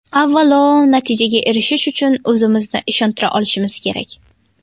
Avvalo, natijaga erishish uchun o‘zimizni ishontira olishimiz kerak.